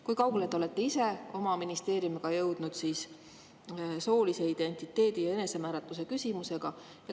Kui kaugele te olete ise oma ministeeriumis jõudnud soolise identiteedi ja enesemääratluse küsimuses?